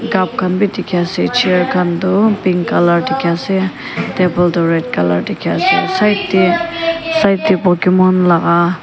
cup khan bi dekhe ase chair khan tuh pink colour dekhe ase table tuh red colour dekhe ase side dae side dae pokemon laga.